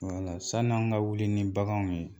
sani an ka wuli ni baganw ye